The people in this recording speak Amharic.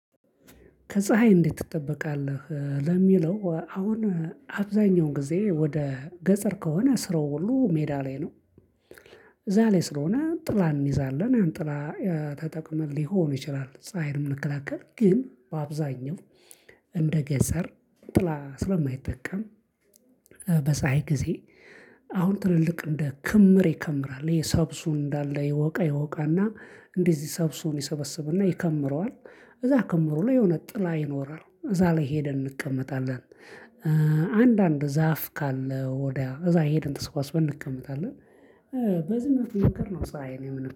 ከፀሀይ እንዴት ትጠበቃለህ ለሚለው አሁን አብዛኛውን ጊዜ ወደ ገጸር ከሆነ ስራው ሁሉ ሜዳ ላይ ነው። ስለሆነ ጥላን እንይዛለን ጥላ ተጠቅመን ሊሆን ይችላል ፀሀይ ምንከላከል ግን በአብዛኛው እንደ ገጸር ጥላ ስለማይጠቀም በፀሀይ ጊዜ አሁን ትልልቅ እንደ ክምር ይከምራል የሰብሱ እንዳለ ይወቃ ይወቃና እንደዚህ ሰብሱን ይሰበስብና ይከምረዋል እዛ ከምሮ ላይ የሆነ ጥላ ይኖራል እዛ ላይ ሄደን እንቀመጣለን አንዳንድ ዛፍ ካለ ወዲያ እዛ ሄደን ተሰባስበን እንቀመጣለን በዚህ መንገድ ነው ፀሀይን